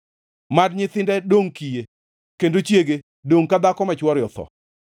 Mad nyithinde dongʼ kiye kendo chiege dongʼ dhako ma chwore otho.